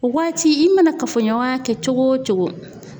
O waati i mana kafoɲɔgɔnya kɛ cogo o cogo